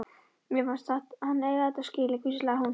Mér fannst hann eiga þetta skilið- hvíslaði hún.